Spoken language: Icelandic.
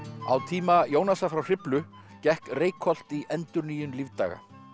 á tíma Jónasar frá Hriflu gekk Reykholt í endurnýjun lífdaga